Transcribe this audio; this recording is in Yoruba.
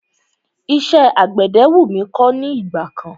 Iṣẹ́ àgbẹ̀dẹ wú mí kọ́ ní ìgbà kan.